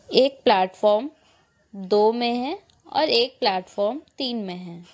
एक प्लेटफॉर्म दो में है और एक प्लेटफॉर्म तीन में है।